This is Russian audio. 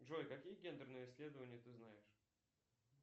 джой какие гендерные исследования ты знаешь